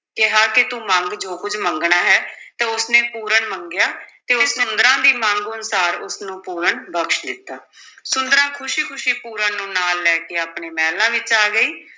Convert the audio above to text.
ਕਿਹਾ ਕਿ ਤੂੰ ਮੰਗ ਜੋ ਕੁੱਝ ਮੰਗਣਾ ਹੈ, ਤੇ ਉਸਨੇ ਪੂਰਨ ਮੰਗਿਆ ਤੇ ਸੁੰਦਰਾਂ ਦੀ ਮੰਗ ਅਨੁਸਾਰ ਉਸਨੂੰ ਪੂਰਨ ਬਖ਼ਸ਼ ਦਿੱਤਾ ਸੁੰਦਰਾਂ ਖ਼ੁਸੀ-ਖੁਸ਼ੀ ਪੂਰਨ ਨੂੰ ਨਾਲ ਲੈ ਕੇ ਆਪਣੇ ਮਹਿਲਾਂ ਵਿਚ ਆ ਗਈ।